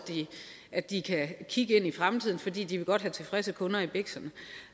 at de kan kigge ind i fremtiden fordi de godt vil have tilfredse kunder i biksen